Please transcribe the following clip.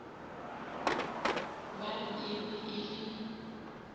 ba e be e le